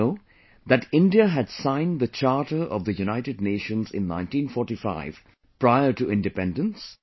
Do you know that India had signed the Charter of the United Nations in 1945 prior to independence